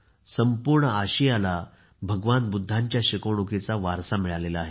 संपूर्ण आशियामध्ये भगवान बुद्धांच्या शिकवणुकीचा वारसा मिळाला आहे